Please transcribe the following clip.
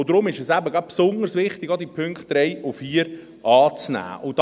Deshalb ist es eben gerade besonders wichtig, auch die Punkte 3 und 4 anzunehmen.